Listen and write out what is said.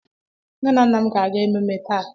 Nne na nna m ga-aga ememme taa.